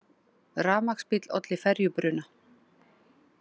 Rafmagnsbíll olli ferjubruna